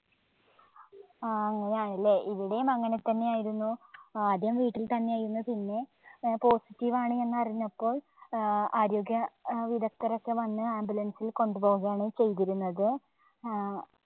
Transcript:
ആ അങ്ങനെയാണ് അല്ലെ. ഇവിടെയും അങ്ങനെതന്നെ ആയിരുന്നു ആദ്യം വീട്ടിൽത്തന്നെ ആയിരുന്നു പിന്നെ positive ആണ് എന്ന് അറിഞ്ഞപ്പോൾ ഏർ ആരോഗ്യ വിദഗ്ദ്ധരോക്കെ വന്ന് ambulance ൽ കൊണ്ടുപോകയാണ് ചെയ്തിരുന്നത്. ഏർ